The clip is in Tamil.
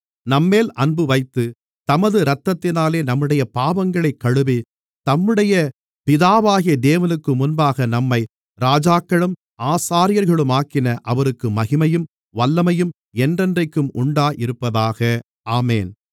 நம்மேல் அன்புவைத்து தமது இரத்தத்தினாலே நம்முடைய பாவங்களைக் கழுவி தம்முடைய பிதாவாகிய தேவனுக்குமுன்பாக நம்மை ராஜாக்களும் ஆசாரியர்களுமாக்கின அவருக்கு மகிமையும் வல்லமையும் என்றென்றைக்கும் உண்டாயிருப்பதாக ஆமென்